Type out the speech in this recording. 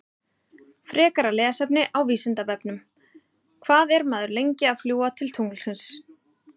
Frekara lesefni á Vísindavefnum: Hvað er maður lengi að fljúga til tunglsins?